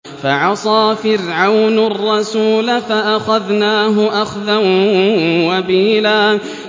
فَعَصَىٰ فِرْعَوْنُ الرَّسُولَ فَأَخَذْنَاهُ أَخْذًا وَبِيلًا